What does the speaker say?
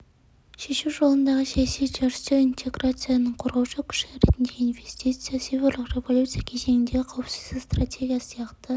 шешу жолындағы саяси үдерістер интеграцияның қозғаушы күші ретіндегі инвестиция цифрлық революция кезеңіндегі қауіпсіздік стратегиясы сияқты